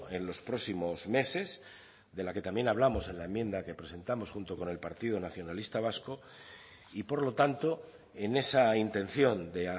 en los próximos meses de la que también hablamos en enmienda que presentamos junto con el partido nacionalista vasco y por lo tanto en esa intención de